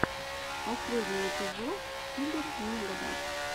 последний эпизод игорь негода